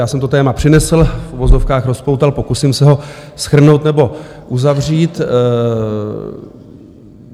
Já jsem to téma přinesl, v uvozovkách rozpoutal, pokusím se ho shrnout nebo uzavřít.